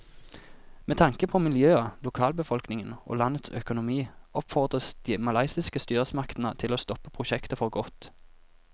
Med tanke på miljøet, lokalbefolkningen og landets økonomi oppfordres de malaysiske styresmaktene til å stoppe prosjektet for godt.